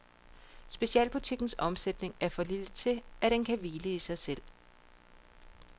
Specialbutikkens omsætning er for lille til, at den kan hvile i sig selv.